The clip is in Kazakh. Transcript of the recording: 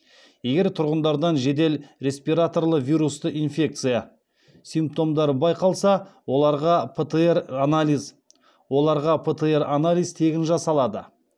егер тұрғындардан жедел респираторлы вирусты инфекция симптомдары байқалса оларға птр анализ тегін жасалады